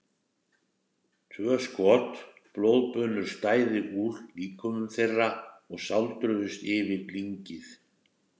Tvö skot, blóðbunur stæðu úr líkömum þeirra og sáldruðust yfir lyngið.